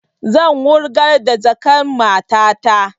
Zan wurgar da jakan matata